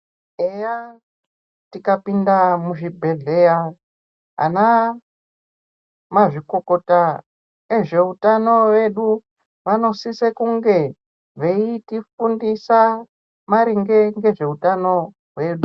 Eya tikapinda muzvibhedhleya, ana mazvikokota ezveutano vedu vanosise kunge veitifundisa maringe ngezveutano hwedu.